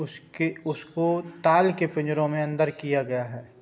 उसके उसको ताल के पिजरों मे अंदर किया गया है।